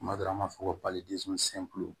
Kuma dɔ la an b'a fɔ ko